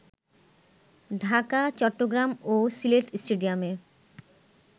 ঢাকা, চট্টগ্রাম ও সিলেট স্টেডিয়ামে